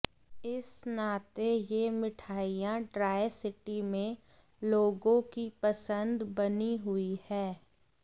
इस नाते यह मिठाइयां ट्राइसिटी में लोगों की पसंद बनी हुई हैं